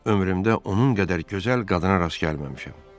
Ömrümdə onun qədər gözəl qadına rast gəlməmişəm.